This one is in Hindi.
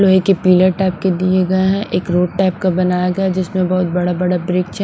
लोहे के पिलर टाइप के दिए गए हैं एक रोड टाइप का बनाया गया जिसमें बहुत बड़ा बड़ा ब्रिज .